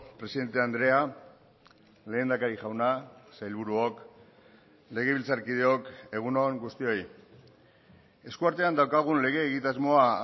presidente andrea lehendakari jauna sailburuok legebiltzarkideok egun on guztioi eskuartean daukagun lege egitasmoa